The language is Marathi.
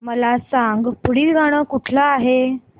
मला सांग पुढील गाणं कुठलं आहे